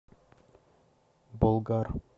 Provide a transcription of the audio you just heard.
болгар